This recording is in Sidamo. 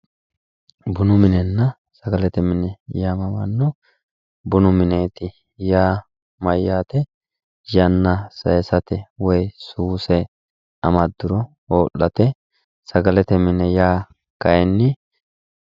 Bunu minenna sagalete mine yamamano ,bunu mineti yaa mayate yanna saysate woyi suse amaduro ho'late ,Sagalete mine yaa kayinni